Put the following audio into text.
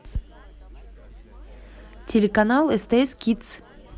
телеканал стс кидс